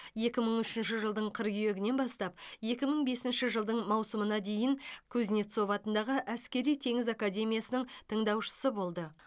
екі мың үшінші жылдың қыркүйегінен бастап екі мың бесінші жылдың маусымына дейін кузнецов атындағы әскери теңіз академиясының тыңдаушысы болды